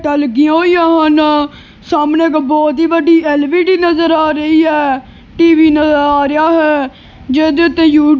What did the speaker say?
ਟਾਂ ਲੱਗੀਆਂ ਹੋਈਆਂ ਹਨ ਸਾਹਮਣੇ ਇਕ ਬਹੁਤ ਹੀ ਵੱਡੀ ਐਲ ਵੀ ਡੀ ਨਜ਼ਰ ਆ ਰਹੀ ਐ ਟੀ ਵੀ ਨਜ਼ਰ ਆ ਰਿਹਾ ਹੈ ਜਿਹਦੇ ਉੱਤੇ ਯੂ--